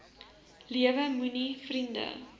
lewe moenie vriende